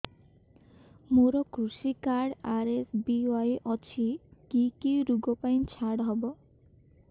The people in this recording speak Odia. ମୋର କୃଷି କାର୍ଡ ଆର୍.ଏସ୍.ବି.ୱାଇ ଅଛି କି କି ଋଗ ପାଇଁ ଛାଡ଼ ହବ